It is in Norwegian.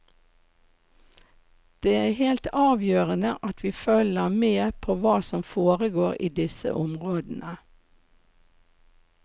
Det er helt avgjørende at vi følger med på hva som foregår i disse områdene.